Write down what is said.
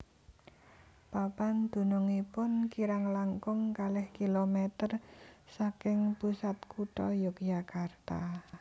Papan dunungipun kirang langkung kalih kilometer saking pusat kutha Yogyakarta